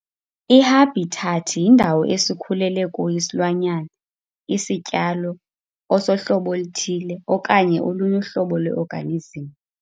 I-habitat yindawo esikhulele kuyo isilwanyana, isityalo, osohlobo oluthile, okanye olunye uhlobo lwe-organism.